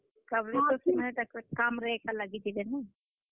ସଭେ ତ ସମଙ୍କର କାମରେ ଏକା ଲାଗିଯିବେ ନାଇଁ।